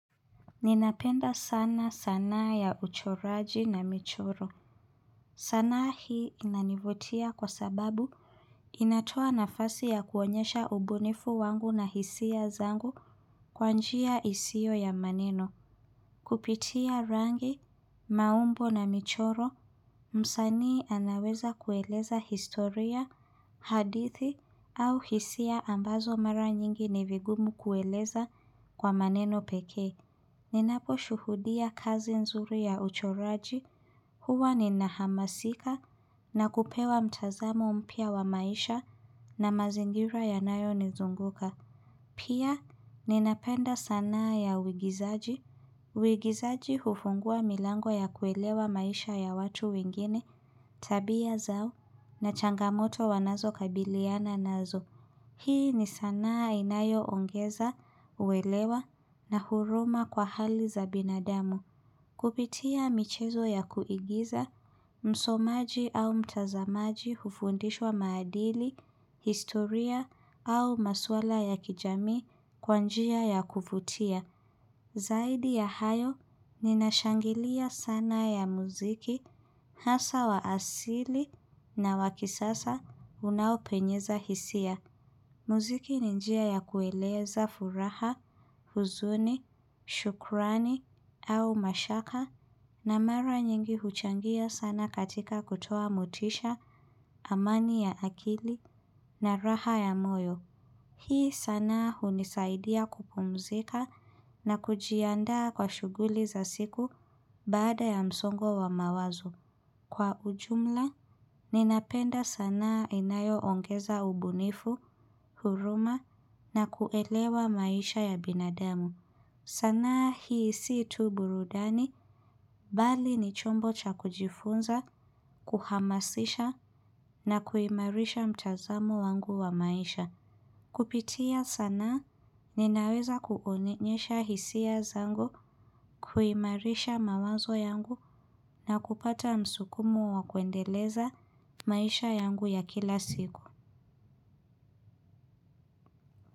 Ninapenda sana sanaa ya uchoraji na michoro. Sanaa hii inanivutia kwa sababu inatoa nafasi ya kuonyesha ubunifu wangu na hisia zangu kwa njia isio ya maneno. Kupitia rangi, maumbo na michoro, msanii anaweza kueleza historia, hadithi au hisia ambazo mara nyingi ni vigumu kueleza kwa maneno pekee Ninapo shuhudia kazi nzuri ya uchoraji, huwa ninahamasika na kupewa mtazamo mpya wa maisha na mazingira yanayo nizunguka. Pia, ninapenda sanaa ya uigizaji, uigizaji hufungua milango ya kuelewa maisha ya watu wengine, tabia zao na changamoto wanazo kabiliana nazo. Hii ni sanaa inayo ongeza, uwelewa na huruma kwa hali za binadamu. Kupitia michezo ya kuigiza, msomaji au mtazamaji hufundishwa maadili, historia au maswala ya kijamii kwa njia ya kufutia. Zaidi ya hayo, ninashangilia sana ya muziki, hasa wa asili na wakisasa unaopenyeza hisia. Muziki ni njia ya kueleza furaha, huzuni, shukrani au mashaka na mara nyingi huchangia sana katika kutoa motisha, amani ya akili na raha ya moyo. Hii sanaa hunisaidia kupumzika na kujiandaa kwa shuguli za siku baada ya msongo wa mawazo. Kwa ujumla, ninapenda sanaa inayoongeza ubunifu, huruma na kuelewa maisha ya binadamu. Sanaa hii si tu burudani, bali ni chombo cha kujifunza, kuhamasisha na kuimarisha mtazamo wangu wa maisha. Kupitia sanaa ninaweza kuonyesha hisia zangu kuimarisha mawazo yangu na kupata msukumo wa kuendeleza maisha yangu ya kila siku.